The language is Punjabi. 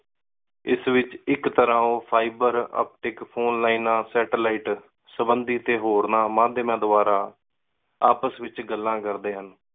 ਏਸ ਵਿਚ ਇਕ ਤਰ੍ਹਾ fiber optic ਫੋਨੇਲੈਣਾ ਸੈਟੇਲਾਈਟ ਸਬੰਦੀ ਤੇ ਹੋਰ ਨਾ ਮਧਯਾਮਾਂ ਦਵਾਰਾ ਆਪਸ ਏਚ ਗੱਲਾਂ ਕਰਦੇ ਹਨ।